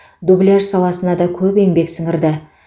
дубляж саласына да көп еңбек сіңірді